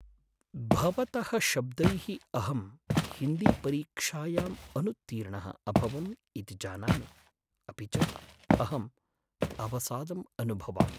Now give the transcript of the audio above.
भवतः शब्दैः अहं हिन्दीपरीक्षायाम् अनुत्तीर्णः अभवम् इति जानामि अपि च अहम् अवसादम् अनुभवामि।